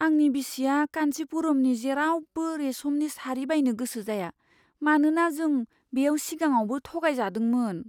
आंनि बिसिया कान्चिपुरमनि जेरावबो रेसमनि सारि बायनो गोसो जाया, मानोना जों बेयाव सिगाङावबो थगायजादोंमोन।